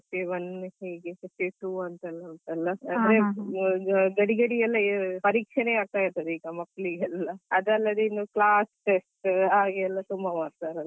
FA one ಹೀಗೆ FA two ಎಂತೆಲ್ಲ ಉಂಟಲ್ಲ ಅಂದ್ರೆ ಗಡಿ ಗಡಿ ಗೆ ಎಲ್ಲ ಪರೀಕ್ಷೆನೆ ಆಗ್ತಾ ಇರ್ತದೆ ಅದಲ್ಲದೆ ಇನ್ನು class test ಹಾಗೆ ಎಲ್ಲ ತುಂಬಾ ಮಾಡ್ತಾರೆ ಅಲ್ವಾ.